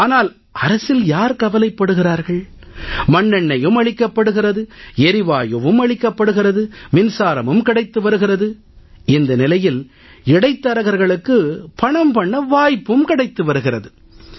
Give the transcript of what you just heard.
ஆனால் அரசில் யார் கவலைப்படுகிறார்கள் மண்ணெண்ணெயும் அளிக்கப்படுகிறது எரிவாயும் அளிக்கப்படுகிறது மின்சாரமும் கிடைத்து வருகிறது இந்த நிலையில் இடைத்தரகரக்ளுக்கு பணம் பண்ண வாய்ப்பும் கிடைத்து வருகிறது